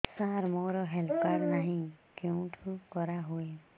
ସାର ମୋର health card ନାହିଁ କେଉଁଠି କରା ହୁଏ